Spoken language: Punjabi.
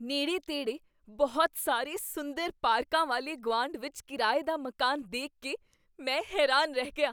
ਨੇੜੇ ਤੇੜੇ ਬਹੁਤ ਸਾਰੇ ਸੁੰਦਰ ਪਾਰਕਾਂ ਵਾਲੇ ਗੁਆਂਢ ਵਿੱਚ ਕਿਰਾਏ ਦਾ ਮਕਾਨ ਦੇਖ ਕੇ ਮੈਂ ਹੈਰਾਨ ਰਹਿ ਗਿਆ